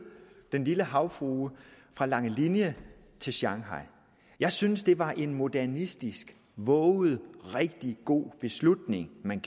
den lille havfrue fra langelinie til shanghai jeg synes det var en modernistisk vovet og rigtig god beslutning man